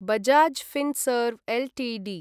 Bajaj Finserv Ltd